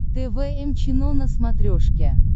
тэ вэ эм чено на смотрешке